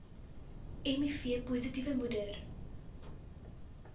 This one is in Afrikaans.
miv positiewe moeder